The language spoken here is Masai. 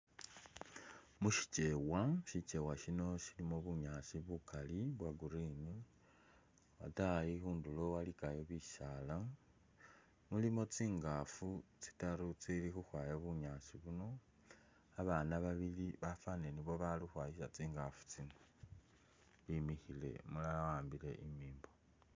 Mushikyewa, shikyewa shiino shilimo bunyaasi bukali bwa green, atayi khunduro walikayo bisaala. mulimo tsingaafu tsitaru tsili khukhwaya bunyaasi buno. Abaana babili bafanile nibo bali khukhwayisa tsingaafu tsino bimikhile umulala wa’ambile imimbo .